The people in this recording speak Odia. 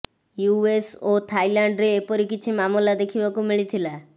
ୟୁଏସ୍ ଓ ଥାଇଲାଣ୍ଡରେ ଏପରି କିଛି ମାମଲା ଦେଖିବାକୁ ମିଳିଥିଲା